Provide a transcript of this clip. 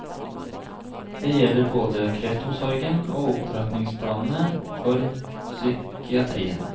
Det gjelder både kreftomsorgen og opptrappingsplanene for psykiatrien.